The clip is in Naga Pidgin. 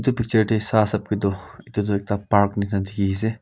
etu picture te sai sabke tu etu tu ekta park nishna dekhi se.